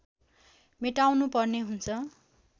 मेटाउनु पर्ने हुन्छ